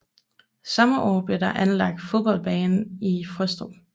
Samme år blev der anlagt fodboldbane i Frøstrup